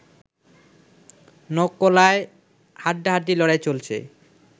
নকলায়ও হাড্ডাহাড্ডি লড়াই চলছে